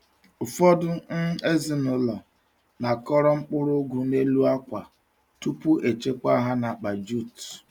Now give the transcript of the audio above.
Ụfọdụ um ezinụlọ na-akọrọ mkpụrụ ugu n’elu akwa tupu echekwa ha n’akpa jute.